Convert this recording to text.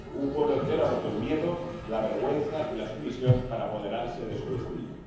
Un pueblo entero ha roto el miedo, la vergüenza y la sumisión para apoderarse de su destino.